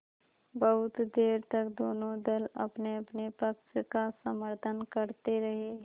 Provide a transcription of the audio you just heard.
बहुत देर तक दोनों दल अपनेअपने पक्ष का समर्थन करते रहे